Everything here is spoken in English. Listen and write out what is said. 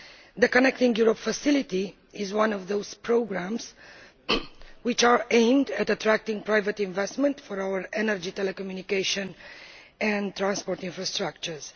The Connecting Europe Facility is one of the programmes that are aimed at attracting private investment for our energy, telecommunications and transport infrastructures.